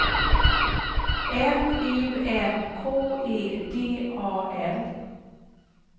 M U N K E D A L